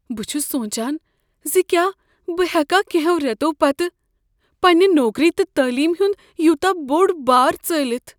بہٕ چھس سونٛچان ز کیٛاہ بہٕ ہیکا کٮ۪نٛہو رٮ۪تو پتہٕ پننہ نوکری تہٕ تعلیم ہنٛد یوٗتاہ بوٚڑ بار ژٲلتھ۔